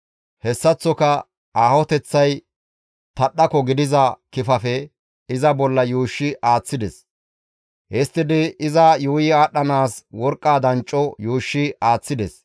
Hessaththoka aahoteththay tadhdhako gidiza kifafe iza bolla yuushshi aaththides. Histtidi iza yuuyi aadhdhanaas worqqa dancco yuushshi aaththides.